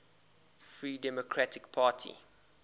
free democratic party